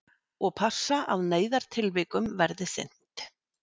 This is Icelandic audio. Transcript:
Og passa að neyðartilvikum verði sinnt